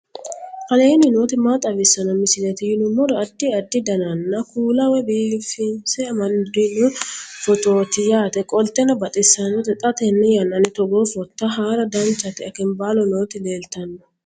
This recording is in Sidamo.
aleenni nooti maa xawisanno misileeti yinummoro addi addi dananna kuula woy biinsille amaddino footooti yaate qoltenno baxissannote xa tenne yannanni togoo footo haara danchate akambaalo nooti leeltanno